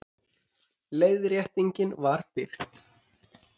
Leiðréttingin var birt